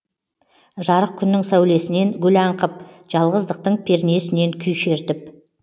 жарық күннің сәулесінен гүл аңқып жалғыздықтың пернесінен күй шертіп